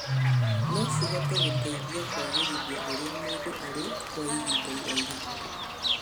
No cihote gũteithia kũagĩrithia ũrĩa mũndũ arĩ kwa ihinda iraihu.